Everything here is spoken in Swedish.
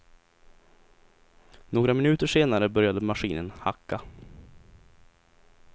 Några minuter senare började maskinen hacka.